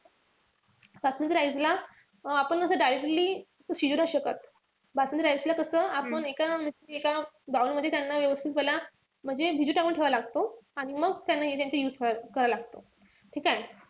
Basmati rice ला आपण असं directly शिजू नाई शकत. बासमती rice ला कसं आपण एका एका bowl मध्ये त्यांना व्यवस्थित त्याला म्हणजे भिजत टाकून ठेवावा लागतो. आणि मग त्यांचा use करावा लागतो. ठीकेय?